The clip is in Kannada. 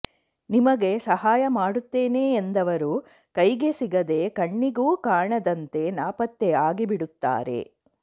ನಿಮಗೆ ಸಹಾಯ ಮಾಡುತ್ತೇನೆ ಎಂದವರು ಕೈಗೆ ಸಿಗದೇ ಕಣ್ಣಿಗೂ ಕಾಣದಂತೆ ನಾಪತ್ತೆ ಆಗಿಬಿಡುತ್ತಾರೆ